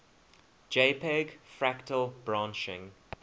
jpg fractal branching